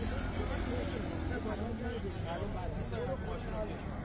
Xeyli qarlıq boşa çıxdı.